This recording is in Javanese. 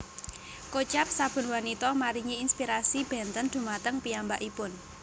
Kocap saben wanita maringi inspirasi bénten dhumateng piyambakipun